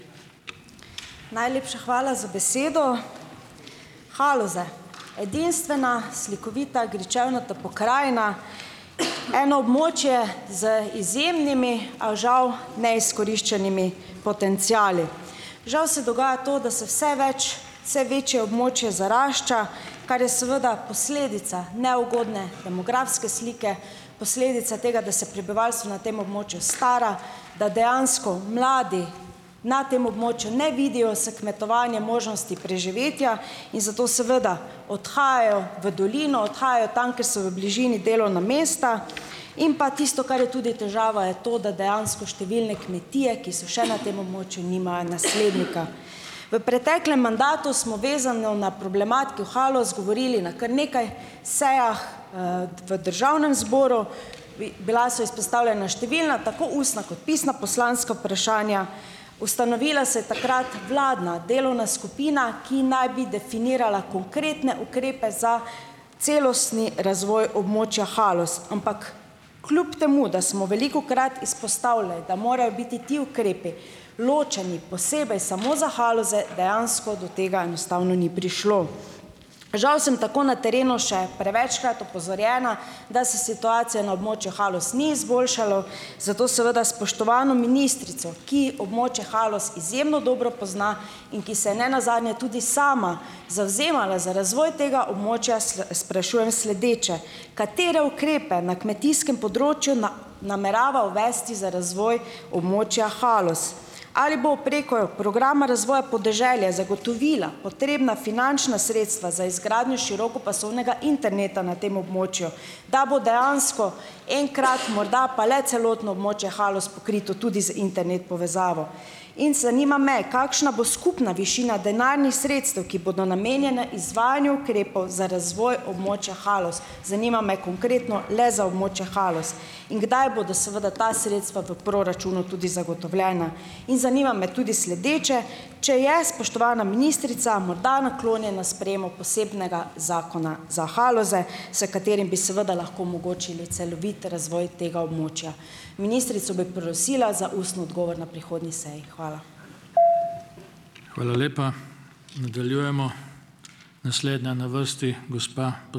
Najlepša hvala za besedo. Haloze, edinstvena, slikovita, gričevnata pokrajina, eno območje z izjemnimi, a žal neizkoriščenimi potenciali. Žal se dogaja to, da se vse več, vse večje območje zarašča, kar je seveda posledica neugodne demografske slike, posledica tega, da se prebivalstvo na tem območju stara, da dejansko mladi na tem območju ne vidijo s kmetovanjem možnosti preživetja in zato seveda odhajajo v dolino, odhajajo tam, kjer so v bližini delovna mesta. In pa tisto, kar je tudi težava, je to, da dejansko številne kmetije, ki so še na tem območju, nimajo naslednika. V preteklem mandatu smo vezano na problematiko Haloz govorili na kar nekaj sejah v Državnem zboru. Bila so izpostavljena številna tako ustna kot pisna poslanska vprašanja, ustanovila se je takrat vladna delovna skupina, ki naj bi definirala konkretne ukrepe za celostni razvoj območja Haloz. Ampak kljub temu, da smo velikokrat izpostavili, da morajo biti ti ukrepi ločeni posebej samo za Haloze, dejansko do tega enostavno ni prišlo. Žal sem tako na terenu še prevečkrat opozorjena, da se situacija na območju Haloz ni izboljšalo. Zato seveda spoštovano ministrico, ki območje Haloz izjemno dobro pozna in ki se nenazadnje tudi sama zavzemala za razvoj tega območja, sprašujem sledeče. Katere ukrepe na kmetijskem področju namerava uvesti za razvoj območja Haloz? Ali bo preko programa razvoja podeželja zagotovila potrebna finančna sredstva za izgradnjo širokopasovnega interneta na tem območju, da bo dejansko enkrat morda pa le celotno območje Haloz pokrito tudi z internet povezavo. In zanima me, kakšna bo skupna višina denarnih sredstev, ki bodo namenjena izvajanju ukrepov za razvoj območja Haloz? Zanima me konkretno le za območje Haloz. In kdaj bodo seveda ta sredstva v proračunu tudi zagotovljena? In zanima me tudi sledeče, če je spoštovana ministrica morda naklonjena sprejemu posebnega zakona za Haloze, s katerim bi seveda lahko omogočili celovit razvoj tega območja. Ministrico bi prosila za ustni odgovor na prihodnji seji. Hvala.